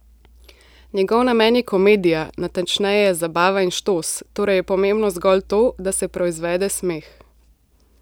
Njegov namen je komedija, natančneje, zabava in štos, torej je pomembno zgolj to, da se proizvede smeh.